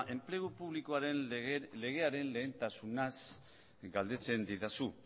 enplegu publikoaren legearen lehentasunaz galdetzen didazu